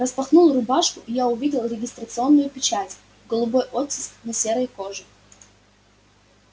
распахнул рубашку и я увидел регистрационную печать голубой оттиск на серой коже